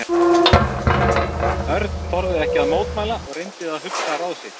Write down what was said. Örn þorði ekki að mótmæla og reyndi að hugsa ráð sitt.